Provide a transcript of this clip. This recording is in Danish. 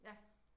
Ja